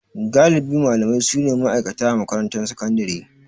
Galibi malamai su ne ma'aikata a makarantar sakandare.